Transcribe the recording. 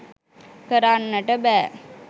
කරන්නට බෑ.